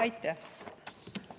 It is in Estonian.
Aitäh!